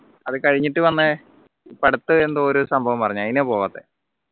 അത് കഴിഞ്ഞിട്ട് വന്ന ഇപ്പോ അടുത്ത് എന്തോ ഒരു സംഭവം പറഞ്ഞു അതിനാ പോവാത്തത്